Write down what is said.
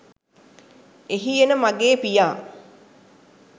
එහි එන මගේ පියා